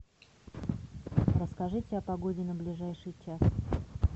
расскажите о погоде на ближайший час